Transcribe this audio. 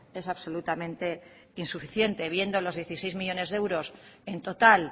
es absolutamente insuficiente viendo los dieciséis millónes de euros en total